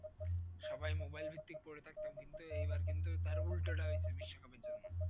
সবাই mobile ভিত্তিক পরে থাকতাম কিন্তু এবার কিন্তু তার উল্টোটা হয়েছে বিশ্বকাপের জন্য।